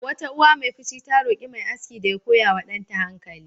Wata uwa mai fushi ta roƙi mai aski da ya koya wa danta hankali.